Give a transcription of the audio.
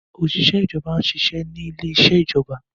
Oṣiṣẹ ìjọba n'se iṣé ní ilè iṣe ìjọba